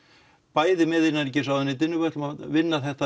bæði með innanríkisráðuneytinu við ætlum að vinna þetta